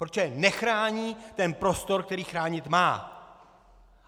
Protože nechrání ten prostor, který chránit má!